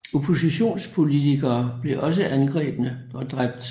Oppositionspolitikere blev også angrebne og dræbt